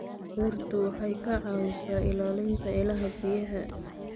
Dhirtu waxay ka caawisaa ilaalinta ilaha biyaha.